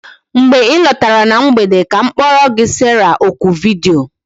Mgbe ị lọtara na mgbede ka m kporo gi Sarah oku vidiyo